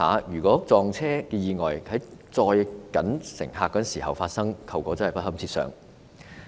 若撞車意外在行車時間發生，後果真的不堪設想。